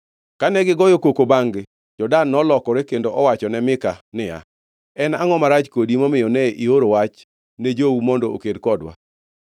Kane gigoyo koko bangʼ-gi, jo-Dan nolokore kendo owacho ne Mika niya, “En angʼo marach kodi momiyo ne ioro wach ne jowu mondo oked kodwa?”